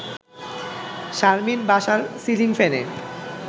শারমিন বাসার সিলিং ফ্যানে